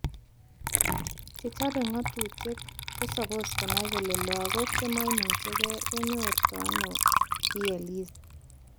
Chechobe ngatutiet kosopos konai kole lakuk chemaimuchike konyotory ano VLEs